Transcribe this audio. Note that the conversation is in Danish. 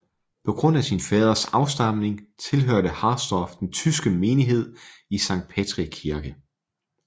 På grund af sin faders afstamning tilhørte Harsdorff den tyske menighed i Sankt Petri Kirke